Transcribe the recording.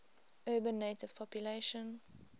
urban native population